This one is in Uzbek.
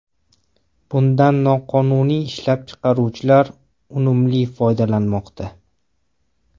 Bundan noqonuniy ishlab chiqaruvchilar unumli foydalanmoqda.